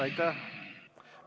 Aitäh!